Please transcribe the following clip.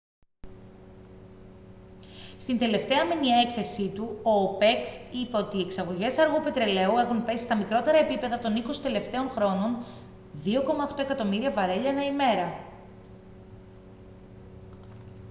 στην τελευταία μηνιαία έκθεσή του ο οπεκ είπε ότι οι εξαγωγές αργού πετρελαίου έχουν πέσει στα μικρότερα επίπεδα των είκοσι τελευταίων χρόνων 2.8 εκατομμύρια βαρέλια ανά ημέρα